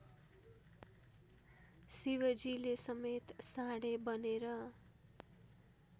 शिवजीले समेत साँढे बनेर